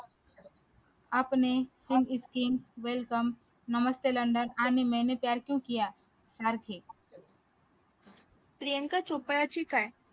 अपने singh is king welcome नमस्ते london आणि मैने प्यार क्यू किया